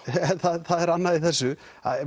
það er annað í þessu